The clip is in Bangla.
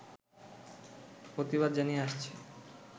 প্রতিবাদ জানিয়ে আসছে